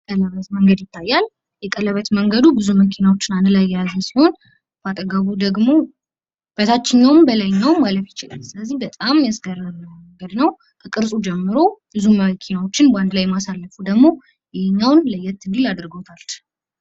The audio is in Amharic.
የቀለበት መንገድ ይታያል። የቀለበት መንገዱ ብዙ መኪናዎችን አንድ ላይ የያዘ ሲሆን መኪናዎቹ ደግሞ በታችኛዉም በላይኛዉም ማለፍ ይችላሉ። በጣም የሚያስገርም ነገር ነው። ከቅርጹ ጀምሮ ብዙ ማራኪ መኪናዎችን በአንድ ላይ እንዲያልፉ ማድረጉ ደግሞ ይህን ለየት እንዲል አድርጎታል።